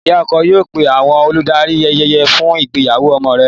Ìyá ọkọ yóò pé àwọn olùdarí ayẹyẹ fún ìgbéyàwó ọmọ rẹ̀.